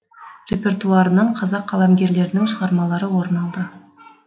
репертуарынан қазақ қаламгерлерінің шығармалары орын алды